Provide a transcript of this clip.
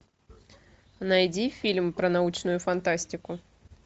найди фильм про научную фантастику